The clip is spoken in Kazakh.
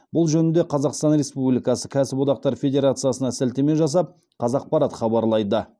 бұл жөнінде қазақстан республикасы кәсіподақтар федерациясына сілтеме жасап қазақпарат хабарлайды